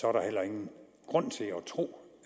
er der heller ingen grund til at tro